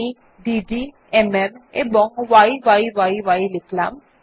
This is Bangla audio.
আমি ডেড এমএম এবং ইয়ি লিখলাম